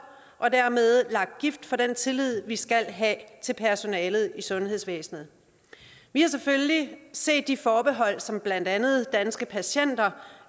og dermed lagt gift for den tillid vi skal have til personalet i sundhedsvæsenet vi har selvfølgelig set de forbehold som blandt andet danske patienter